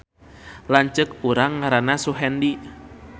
Lanceuk urang ngaranna Suhendi